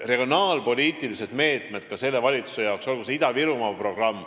Regionaalpoliitilised meetmed on ka selle valitsuse jaoks, olgu see Ida-Virumaa programm ...